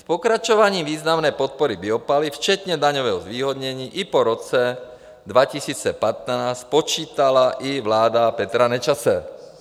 S pokračováním významné podpory biopaliv včetně daňového zvýhodnění i po roce 2015 počítala i vláda Petra Nečase.